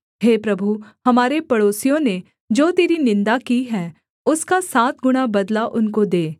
हे प्रभु हमारे पड़ोसियों ने जो तेरी निन्दा की है उसका सात गुणा बदला उनको दे